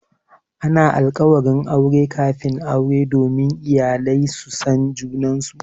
Ana alkawarin aure kafin aure domin iyalai su san junansu.